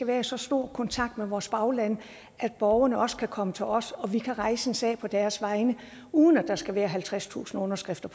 være i så stor kontakt med vores bagland at borgerne også kan komme til os og at vi kan rejse en sag på deres vegne uden at der skal være halvtredstusind underskrifter